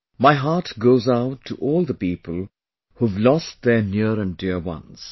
My heart goes out to all the people who've lost their near and dear ones